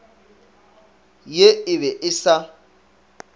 ye e be e sa